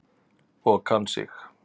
Og kann sig.